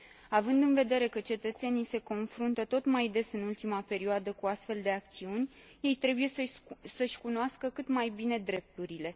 Având în vedere că cetățenii se confruntă tot mai des în ultima perioadă cu astfel de acțiuni, ei trebuie să își cunoască cât mai bine drepturile.